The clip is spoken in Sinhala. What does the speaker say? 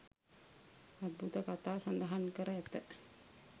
අද්භූත කතා සඳහන් කර ඇත